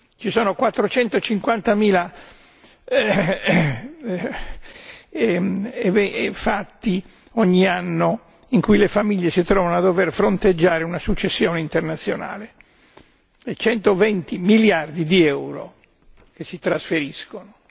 Ci sono 450 mila fatti ogni anno in cui le famiglie si trovano a dover fronteggiare una successione internazionale e 120 miliardi di euro che si trasferiscono.